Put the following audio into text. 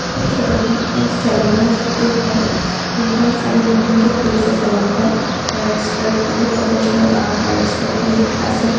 এই ফটো খন এখন চেলন ৰ ফটো হয় যোনখন চাগে নতুনকে খুলিছে চেলন খন হেয়াৰ এক্সপাৰ্ত বুলি প্ৰফেচনেল আ হেয়াৰ এক্সপাৰ্ত বুলি লিখা আছে।